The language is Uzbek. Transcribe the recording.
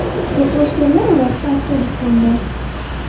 To‘qnashganlar orasida avtobus ham bor .